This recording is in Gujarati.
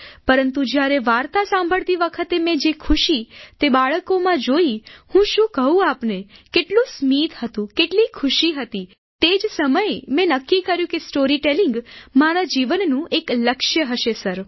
પરંતુ જ્યારે વાર્તા સાંભળતી વખતે મેં જે ખુશી તે બાળકોમાં જોઈ હું શું કહું આપને કેટલું સ્મિત હતું કેટલી ખુશી હતી તે તે જ સમયે મેં નક્કી કર્યું કે સ્ટોરીટેલીંગ મારા જીવનનું એક લક્ષ્ય હશે સર